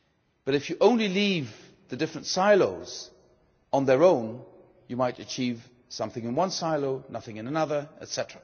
But if you only leave the different silos on their own you might achieve something in one silo, nothing in another, etc.